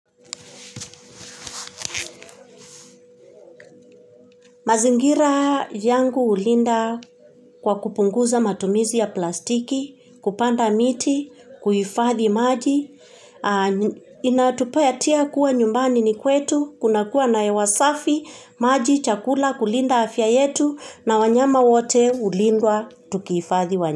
Mazingira yangu hulinda kwa kupunguza matumizi ya plastiki, kupanda miti, kuhifadhi maji, inatupea tia kuwa nyumbani ni kwetu, kuna kuwa na hewa safi, maji, chakula, kulinda afya yetu, na wanyama wote hulindwa, tukihifadhi wanyama.